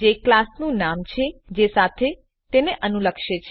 જે ક્લાસનું નામ છે જે સાથે તે અનુલક્ષે છે